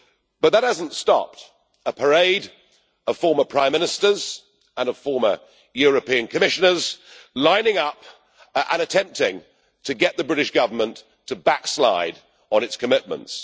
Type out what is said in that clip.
But that has not stopped a parade of former prime ministers and of former European Commissioners from lining up and attempting to get the British Government to backslide on its commitments.